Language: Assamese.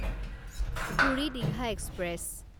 পুৰি দীঘা এক্সপ্ৰেছ